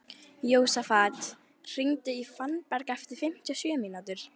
Jósafat, hringdu í Fannberg eftir fimmtíu og sjö mínútur.